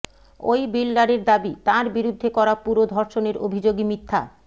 ওই বিল্ডারের দাবি তাঁর বিরুদ্ধে করা পুরো ধর্ষণের অভিযোগই মিথ্যা